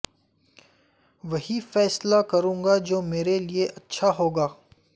وہی فیصلہ کروں گا جو میرے لیے اچھا ہو گا